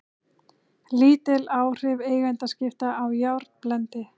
Lítil áhrif eigendaskipta á járnblendi